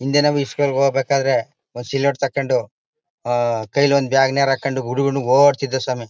ಹಿಂದೆ ನಾವು ಇಸ್ಕೂಲ್ ಗೆ ಹೋಗ್ಬೇಕಾದ್ರೆ ಒಂದು ಸ್ಲೇಟು ತೆಕ್ಕೊಂಡು ಆ ಕೈಲೊಂದು ಬ್ಯಾಗ್ ನೇರಾ ಹಾಕ್ಕೊಂಡು ಹುಡುಗನು ಓಡ್ತಿದ್ದ ಸ್ವಾಮಿ.